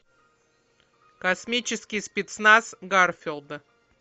космический спецназ гарфилда